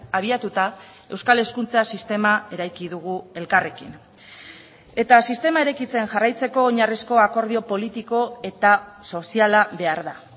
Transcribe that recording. abiatuta euskal hezkuntza sistema eraiki dugu elkarrekin eta sistema eraikitzen jarraitzeko oinarrizko akordio politiko eta soziala behar da